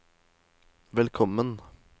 velkommen